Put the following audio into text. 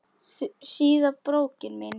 Síða brókin mín!